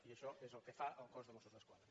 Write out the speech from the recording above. i això és el que fa el cos de mossos d’esquadra